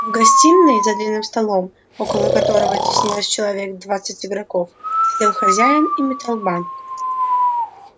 в гостиной за длинным столом около которого теснилось человек двадцать игроков сидел хозяин и метал банк